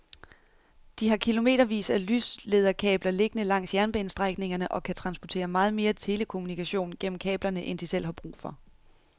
De har kilometervis af lyslederkabler liggende langs jernbanestrækningerne og kan transportere meget mere telekommunikation gennem kablerne end de selv har brug for.